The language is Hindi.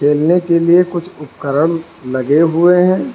खेलने के लिए कुछ उपकरण लगे हुए हैं।